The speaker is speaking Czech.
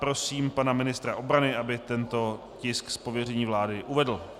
Prosím pana ministra obrany, aby tento tisk z pověření vlády uvedl.